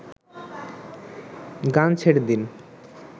গান ছেড়ে দিন